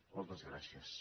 moltes gràcies